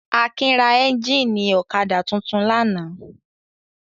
Akin ra ẹ́ńjínì ọ̀kadà tuntun lánàá.